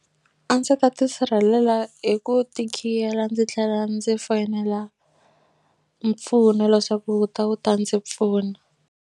A ndzi ta tisirhelela hi ku ti khiyela ndzi tlhela ndzi foyinela mpfuno leswaku wu ta wu ta ndzi pfuna.